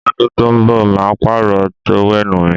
Lọ́dún tó ń bọ̀ màá pààrọ̀ tówẹ́nù mi